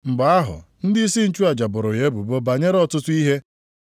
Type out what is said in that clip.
Mgbe ahụ ndịisi nchụaja boro ya ebubo banyere ọtụtụ ihe.